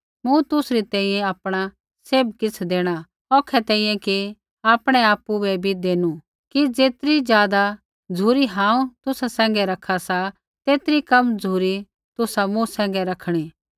मूँ तुसरी तैंईंयैं आपणा सैभ किछ़ देणा औखै तैंईंयैं कि आपणै आपु बै भी देनु कि ज़ेतरी ज़ादा झ़ुरी हांऊँ तुसा सैंघै रखा सा तेतरी कम झ़ुरी तुसा मूँ सैंघै रखणी